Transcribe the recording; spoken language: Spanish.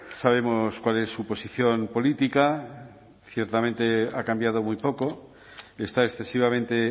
sabemos cuál es su posición política ciertamente ha cambiado muy poco está excesivamente